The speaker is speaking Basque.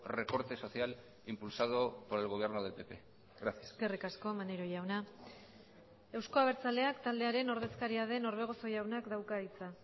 recorte social impulsado por el gobierno del pp gracias eskerrik asko maneiro jauna euzko abertzaleak taldearen ordezkaria den orbegozo jaunak dauka hitza